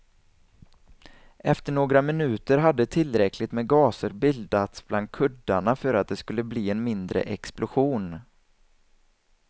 Efter några minuter hade tillräckligt med gaser bildats bland kuddarna för att det skulle bli en mindre explosion.